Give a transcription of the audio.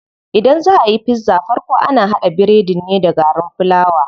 Idan zaa ayi pizza farko ana haɗa biredin ne da garin fulawa.